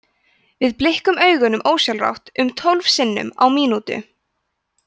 við blikkum augunum ósjálfrátt um tólf sinnum á mínútu